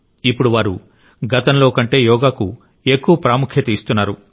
ఇప్పుడు వారు గతంలో కంటే యోగాకు ఎక్కువ ప్రాముఖ్యత ఇస్తున్నారు